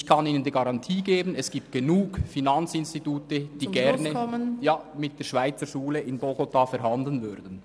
Ich kann Ihnen die Garantie geben, dass es genug Finanzinstitute gibt, die gerne mit der Schweizerschule in Bogotá verhandeln würden.